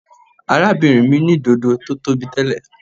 Arábìnrin mi ní dodo tí ó tóbi tẹ́lẹ̀.